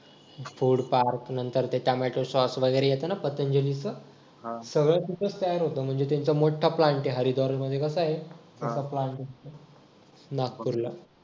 food park त्याच्यानंतर ते tomato sauce वगैरे येत ना पतंजलीच सगळं तिथंच तयार होत म्हणजे त्यांचा मोठा plant आहे हरिद्वार मध्ये म्हणजे कस आहे नागपूरला